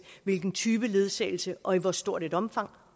hvilken type ledsagelse og i hvor stort et omfang